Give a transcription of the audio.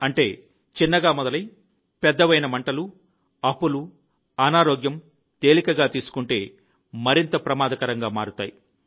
అంటే చిన్నగా మొదలై పెద్దవైన మంటలు అప్పులు అనారోగ్యం తేలికగా తీసుకుంటే మరింత ప్రమాదకరంగా మారుతుంది